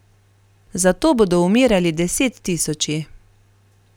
Za to bodo umirali desettisoči.